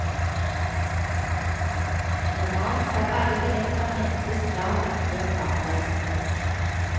Normalt skal alle billetter hentes dagen før avreise.